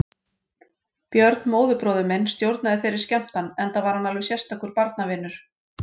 Björn, móðurbróðir minn, stjórnaði þeirri skemmtan enda var hann alveg sérstakur barnavinur.